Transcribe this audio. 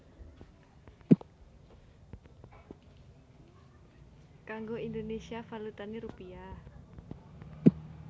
Kanggo Indonésia valutané rupiah